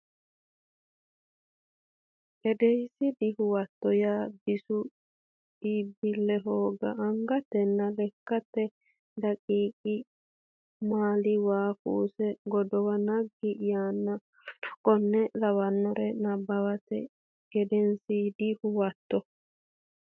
edensiidi Huwato yaa bisu iibbille hooga angatenna lekkate daqiiqa maali waa kuusa godowu naggi yaanna w k l Nabbawate Gedensiidi Huwato.